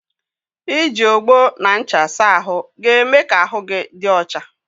I ji ogbo na ncha saa ahụ ga-eme ka ahụ gị dị ọcha.